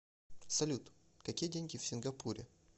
салют какие деньги в сингапуре